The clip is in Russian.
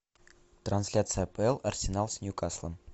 трансляция апл арсенал с ньюкаслом